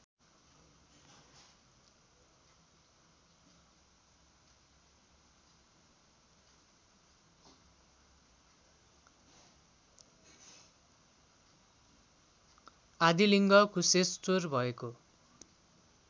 आदिलिङ्ग कुशेश्वर भएको